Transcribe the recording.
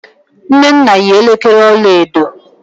nnenna yi elekere ọla edo.